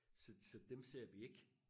så så dem ser vi ikke